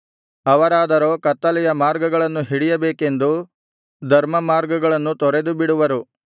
ಅವರಾದರೋ ಕತ್ತಲೆಯ ಮಾರ್ಗಗಳನ್ನು ಹಿಡಿಯಬೇಕೆಂದು ಧರ್ಮಮಾರ್ಗಗಳನ್ನು ತೊರೆದುಬಿಡುವರು